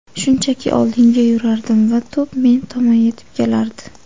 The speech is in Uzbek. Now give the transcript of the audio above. Shunchaki oldinga yugurardim va to‘p men tomon yetib kelardi.